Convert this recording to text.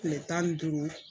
Kile tan ni duuru.